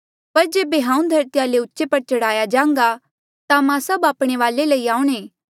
पर जेबे हांऊँ धरतीया ले उचे पर चढ़ाया जान्घा ता मैं सभ आपणे वाले लई आऊणें